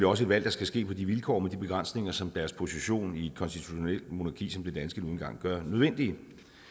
også et valg der skal ske på de vilkår med de begrænsninger som deres position i et konstitutionelt monarki som det danske nu engang gør nødvendigt